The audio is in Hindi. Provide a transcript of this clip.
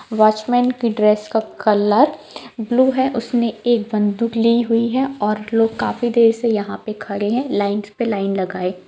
वॉचमैन कि ड्रेस का कॉलर ब्लू है उसने एक बन्दूक लि हुई है और लोग काफी देर से खड़े है लाइंस पे लाइन लगाए।